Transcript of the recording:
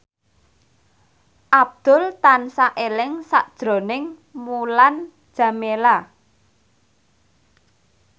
Abdul tansah eling sakjroning Mulan Jameela